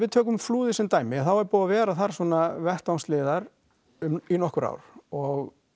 tökum Flúðir sem dæmi að þá er búið að vera þar svona vettvangsliðar í nokkur ár og